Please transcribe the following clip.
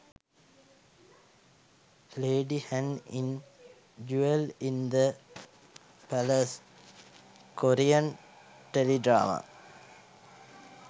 lady han in jewel in the palace korean tele drama